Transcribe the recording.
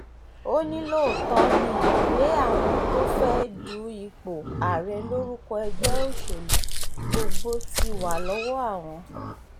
ó ní lóòótọ́ ni ìwé àwọn tó fẹ́ẹ̀ du ipò ààrẹ lórúkọ ẹgbẹ́ òṣèlú gbogbo ti wà lọ́wọ́ àwọn